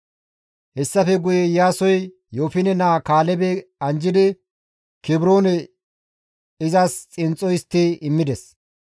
Hessafe guye Iyaasoy Yoofine naa Kaalebe anjjidi Kebroone izas xinxxo histti immides.